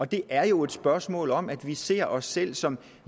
det er jo et spørgsmål om at vi ser os selv som